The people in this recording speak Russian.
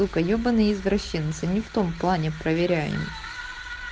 ебанный извращенка не в том плане проверяемый